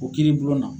O kiiri bulon na